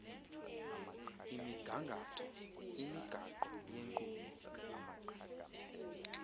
imigangatho imigaqo yenkqubo